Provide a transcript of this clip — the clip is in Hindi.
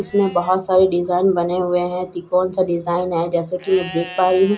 इसमें बहोत सारे डिजाइन बने हुए हैं तिकोने सा डिजाइन है जैसे कि मैं देख पा रही हूं।